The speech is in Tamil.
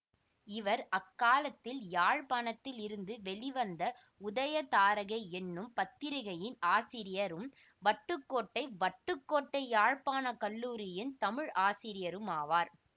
இவர் அக்காலத்தில் யாழ்ப்பாணத்திலிருந்து வெளிவந்த உதயதாரகை என்னும் பத்திரிகையின் ஆசிரியரும் வட்டுக்கோட்டை வட்டுக்கோட்டை யாழ்ப்பாண கல்லூரியின் தமிழ் ஆசிரியருமாவார்